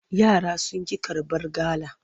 Yara sun ƙi karbar gala.